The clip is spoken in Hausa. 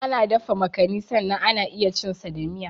Ana dafa makani sannan ana iya cin sa da miya.